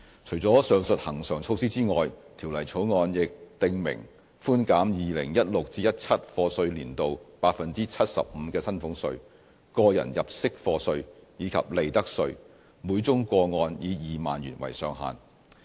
除了上述恆常措施外，《條例草案》亦訂明寬減 2016-2017 課稅年度 75% 的薪俸稅、個人入息課稅及利得稅，每宗個案以2萬元為上限。